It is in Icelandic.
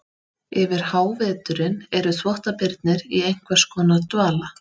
Yfir háveturinn eru þvottabirnir í einhvers konar dvala.